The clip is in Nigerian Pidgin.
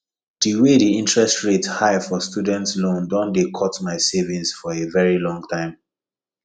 the way the interest rate high for student loan don dey cut my savings for a very long time